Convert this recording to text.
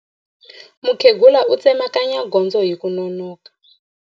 Mukhegula u tsemakanya gondzo hi ku nonoka.